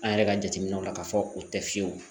An yɛrɛ ka jateminɛw la k'a fɔ u tɛ fiyewu